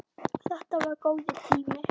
Þetta var góður tími.